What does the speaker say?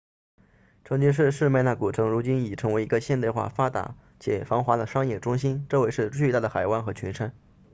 曾经是士麦那 smyrna 古城如今已成为一个现代化发达且繁忙的商业中心周围是巨大的海湾和群山